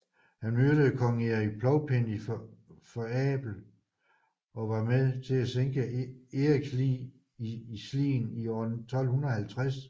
Han myrdede kong Erik Plovpenning for Abel og var med til at sænke Eriks lig i Slien i år 1250